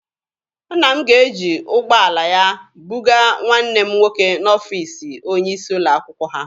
Nna m ga-eji ụgbọala ya bugaa nwanne m nwoke n'ọfiisi onye isi ụlọ akwụkwọ ha.